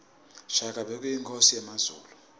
shaka bekuyinkhosi yakazulu